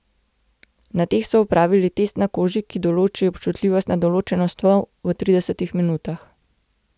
Na teh so opravili test na koži, ki določi občutljivost na določeno snov v tridesetih minutah.